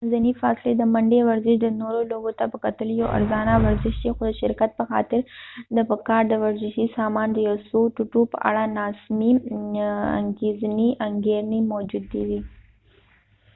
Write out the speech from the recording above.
د منځنی فاصلی د منډی ورزش د نورو لوبو ته په کتلو یو ارزانه ورزش دي خو د شرکت په خاطر د په کار د ورزشي سامان د یو څو ټوټو په اړه نا سمی انګیرنی موجودي دي